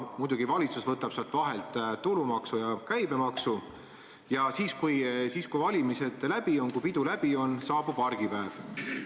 Muidugi valitsus võtab sealt vahelt tulumaksu ja käibemaksu ja siis kui valimised läbi on, kui pidu läbi on, saabub argipäev.